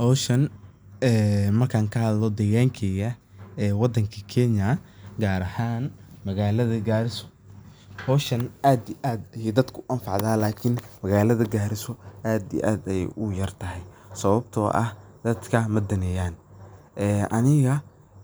Howshan markan kahadlo ,degan keyga wadanka Kenya gaar ahan magalada Garissa ,howshan aad iyo aad ayey dadka u anfacda lakin magalada Garissa aad iyo aad ayey ugu yartahay sababto ah dadka madaneyan. Aniga